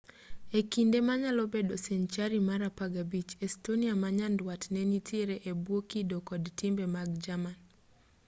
e kinde manyalo bedo senchari mar 15 estonia ma nyanduat ne nitiere e bwo kido kod timbe mag jerman